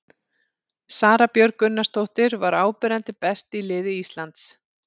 Sara Björg Gunnarsdóttir var áberandi best í liði Íslands.